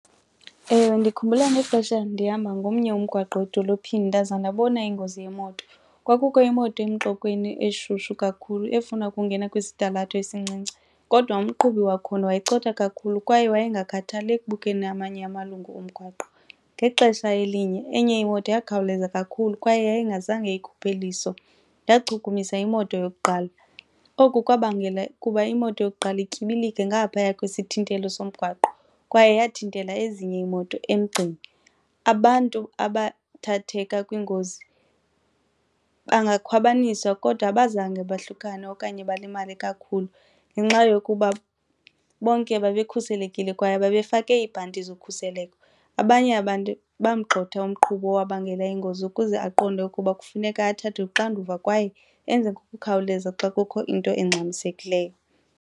Ewe, ndikhumbula nexesha ndihamba ngomnye umgwaqo edolophini ndaze ndabona ingozi yemoto. Kwakukho imoto emxokweni eshushu kakhulu efuna ukungena kwisitalato esincinci kodwa umqhubi wakhona wayecotha kakhulu kwaye wayengakhathaliyo ekubukeni amanye amalungu umgwaqo. Ngexesha elinye enye imoto yakhawuleza kakhulu kwaye yayingazange ikhuphe iliso, ndachukumisa imoto yokuqala. Oku kwabangela kuba imoto yokuqala ityibilike ngaphaya kwesithintelo somgwaqo kwaye yathintela ezinye iimoto emgceni. Abantu abathatheka kwingozi bangakhwabanisa kodwa abazange bohlukane okanye balimale kakhulu ngenxa yokuba bonke babekhuselekile kwaye babefake iibhanti zokhuseleko. Abanye abantu bamgxotha umqhubi owabangela iingozi ukuze aqonde ukuba kufuneka athathe uxanduva kwaye enze ngokukhawuleza xa kukho into engxamisekileyo.